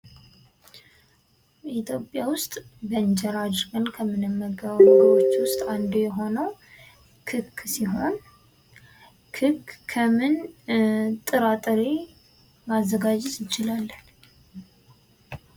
ኢትዮጵያ ውስጥ በእንጀራ አድርገን ከምንመገበው ምግቦች ውስጥ አንዱ የሆነው ክክ ሲሆን ክክ ከምን ጥራ ጥሬ ማዘጋጀት እንችላለን?